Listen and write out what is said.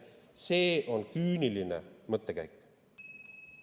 See on küüniline mõttekäik.